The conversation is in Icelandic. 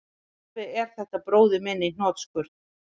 Alveg er þetta bróðir minn í hnotskurn